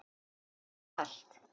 Er þér kalt?